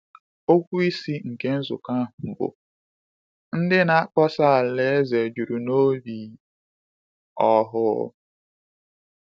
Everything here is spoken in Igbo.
Okwu isi nke nzukọ ahụ bụ “Ndị Na-akpọsa Alaeze Juru N’obi Ọhụụ.”